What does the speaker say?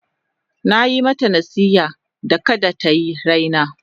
Na yi mata nasiha da kada ta yi raina.